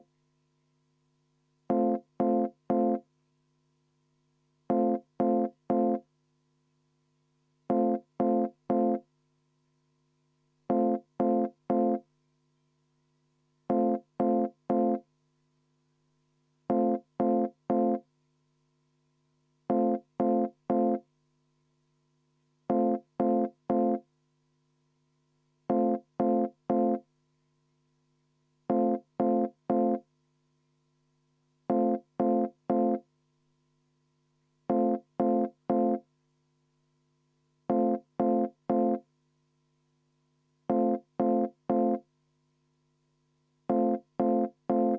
Vaheaeg kümme minutit.